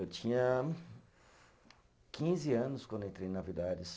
Eu tinha quinze anos quando entrei na Villares.